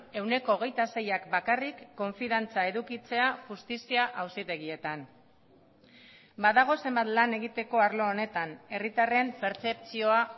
ehuneko hogeita seiak bakarrik konfiantza edukitzea justizia auzitegietan badago zenbat lan egiteko arlo honetan herritarren pertzepzioa